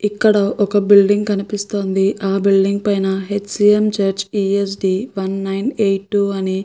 ఇక్కడ ఒక బిల్డింగ్ కనిపిస్తుంది ఆ బిల్డింగ్ పైన H C N church P H D one nine eight two అని --